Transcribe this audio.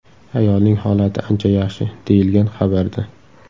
Ayolning holati ancha yaxshi”, deyilgan xabarda.